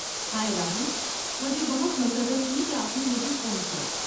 ہائے، راہل! مجھے بہت مسرت ہوئی کہ آپ نے مجھے فون کیا۔